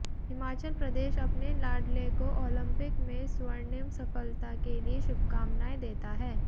हिमाचल प्रदेश अपने लाडले को ओलंपिक में स्वर्णिम सफलता के लिए शुभकामनाएं देता है